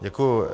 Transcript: Děkuji.